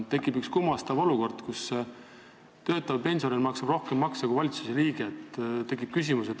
Tekkinud on kummastav olukord, kus töötav pensionär maksab rohkem makse kui riigi valitsuse liige.